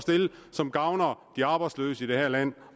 som gavner de arbejdsløse i det her land